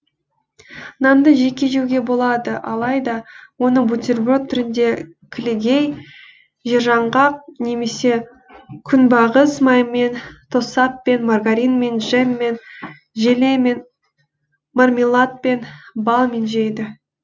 нанды жеке жеуге болады алайда оны бутерброд түрінде кілегей жержаңғақ немесе күнбағыс майымен тосаппен маргаринмен джеммен желемен мармеладпен балмен жейді